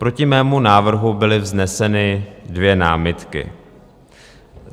Proti mému návrhu byly vzneseny dvě námitky.